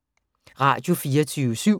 Radio24syv